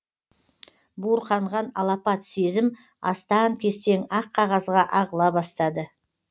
буырқанған алапат сезім астаң кестең ақ қағазға ағыла бастады